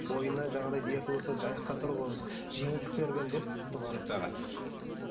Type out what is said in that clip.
бойында жаңағыдай дерті болса аяққа тұрғыз жеңілдік деп түсінікті аға